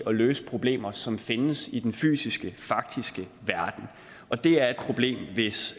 at løse problemer som findes i den fysiske faktiske verden og det er et problem hvis